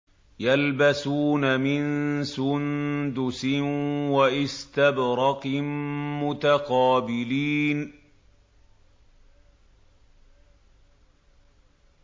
يَلْبَسُونَ مِن سُندُسٍ وَإِسْتَبْرَقٍ مُّتَقَابِلِينَ